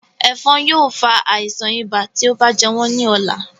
Ẹ̀fọ̀n yóò fa àisàn ibà tí ó bá jẹ wọ́n ní ọ̀la